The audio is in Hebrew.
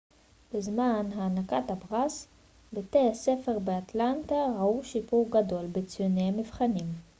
בזמן הענקת הפרס בתי הספר באטלנטה ראו שיפור גדול בציוני המבחנים